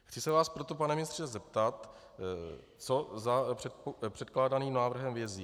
Chci se vás proto pane ministře zeptat, co za předkládaným návrhem vězí.